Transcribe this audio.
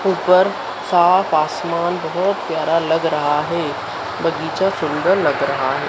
ऊपर साफ आसमान बहुत प्यारा लग रहा हैं बगीचा सुंदर लग रहा हैं।